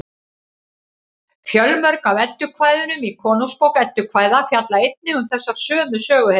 fjölmörg af eddukvæðunum í konungsbók eddukvæða fjalla einnig um þessar sömu söguhetjur